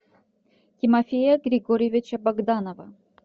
тимофея григорьевича богданова